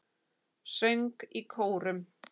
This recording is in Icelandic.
Söng í kórum.